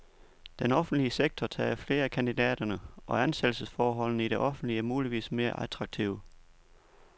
Den offentlige sektor tager flere af kandidaterne, og ansættelsesforholdene i det offentlige er muligvis mere attraktive.